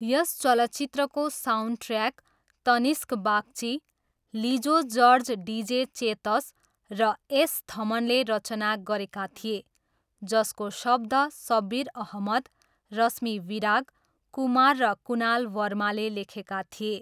यस चलचित्रको soundtrack Tanishk Bagchi, Lijo George DJ Chetas र S थमनले रचना गरेका थिए, जसको शब्द सब्बिर अहमद, रश्मि विराग, कुमार र कुनाल वर्माले लेखेका थिए।